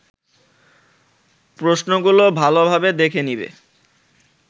প্রশ্নগুলো ভালোভাবে দেখে নিবে